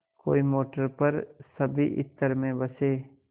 कोई मोटर पर सभी इत्र में बसे